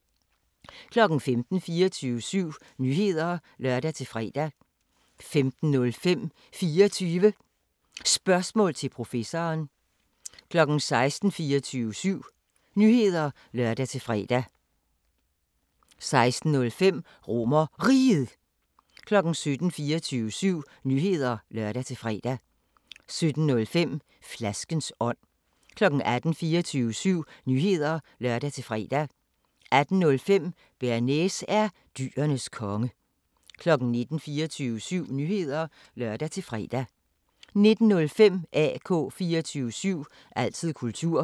15:00: 24syv Nyheder (lør-fre) 15:05: 24 Spørgsmål til Professoren 16:00: 24syv Nyheder (lør-fre) 16:05: RomerRiget 17:00: 24syv Nyheder (lør-fre) 17:05: Flaskens ånd 18:00: 24syv Nyheder (lør-fre) 18:05: Bearnaise er dyrenes konge 19:00: 24syv Nyheder (lør-fre) 19:05: AK 24syv – altid kultur